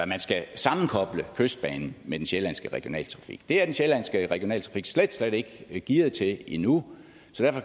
man skal sammenkoble kystbanen med den sjællandske regionaltrafik det er den sjællandske regionaltrafik slet slet ikke gearet til endnu